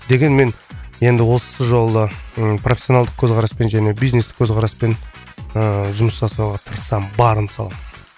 дегенмен енді осы жолы ы профессионалдық көзқараспен және бизнестік көзқараспен ыыы жұмыс жасауға тырысамын барымды саламын